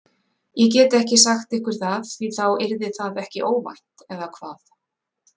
Ég get ekki sagt ykkur það því þá yrði það ekki óvænt eða hvað?